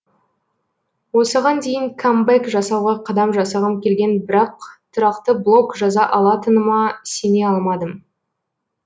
осыған дейін камбэк жасауға қадам жасағым келген бірақ тұрақты блог жаза алатыныма сене алмадым